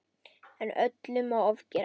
En öllu má ofgera.